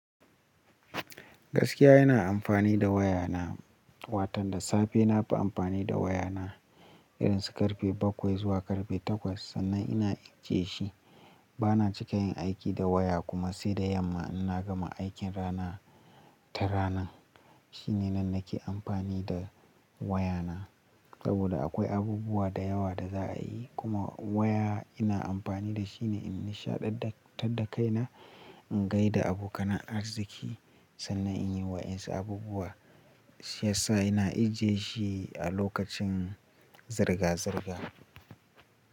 Gaskiya ina amfani da wayana, watan da safe nafi amfani da wayana irin su ƙarfe bakwai zuwa ƙarfe takwas sannan ina ijiye shi. Bana cika yin aiki da waya kuma sai da yamma in na gama aikin rana ta ranan. Shine nan nake amfani da wayana saboda akwai abubuwa da yawa da za a yi. Kuma waya ina amfani da shine in nishaɗantar da kaina, in gaida abokana arziki sannan inyi waƴan su abubuwa. Shi yasa ina ijiye shi a lokacin zirga zirga.